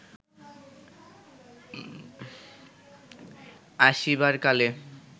আসিবার কালে